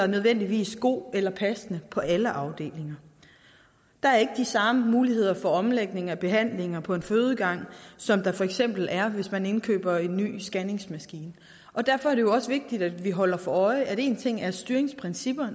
nødvendigvis god eller passende på alle afdelinger der er ikke de samme muligheder for omlægning af behandlinger på en fødegang som der for eksempel er hvis man indkøber en ny scanner og derfor er det også vigtigt at vi holder os for øje at én ting er styringsprincipper